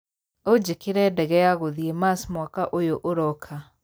ũnjĩkĩre ndege ya gũthiĩ Mars mwaka ũyũ ũroka